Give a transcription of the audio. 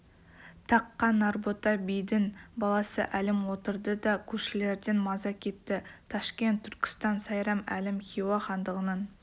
таққа нарбота бидің баласы әлім отырды да көршілерден маза кетті ташкент түркістан сайрам әлім хиуа хандығының